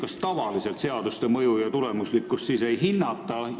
Kas tavaliselt seaduste mõju ja tulemuslikkust siis ei hinnata?